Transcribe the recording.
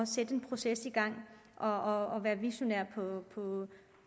sætte en proces i gang og at være visionær